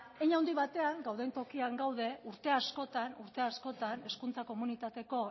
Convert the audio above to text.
hein handi batean gauden tokian gaude urte askotan urte askotan hezkuntza komunitateko